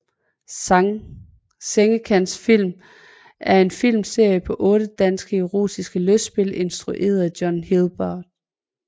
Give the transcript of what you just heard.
Sengekantsfilm er en filmserie på otte danske erotiske lystspil instrueret af John Hilbard